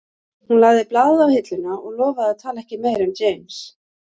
Hún lagði blaðið á hilluna og lofaði að tala ekki meira um James